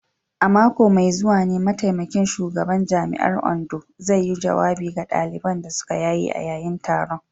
A mako mai zuwa ne mataimakin shugaban jami’ar Ondo zai yi jawabi ga daliban da suka yaye a yayin taron.